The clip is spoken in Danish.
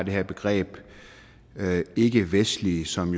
det her begreb ikkevestlig som